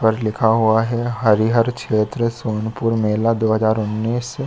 पर लिखा हुआ हैहरिहर क्षेत्र सोनपुर मेला दो हज़ार उन्नीस।